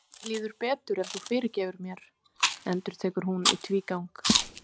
En mér líður betur ef þú fyrirgefur mér, endurtekur hún í tvígang.